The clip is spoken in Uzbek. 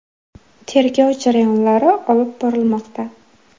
Tergov jarayonlari olib borilmoqda.